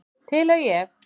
Til er ég.